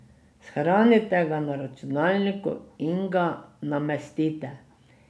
Shranite ga na računalniku in ga namestite.